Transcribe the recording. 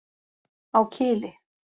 Á Kili.